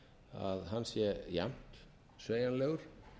að hann sé jafnt sveigjanlegur